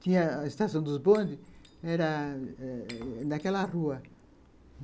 Tinha a estação dos bondes, era naquela rua.